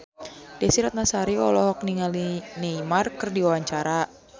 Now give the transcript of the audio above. Desy Ratnasari olohok ningali Neymar keur diwawancara